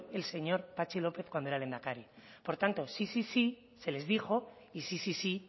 el señor patxi lópez cuando era lehendakari por tanto sí sí sí se les dijo y sí sí sí